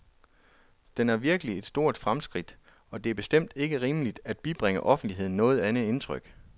Den er virkelig et stort fremskridt, og det er bestemt ikke rimeligt, at bibringe offentligheden noget andet indtryk.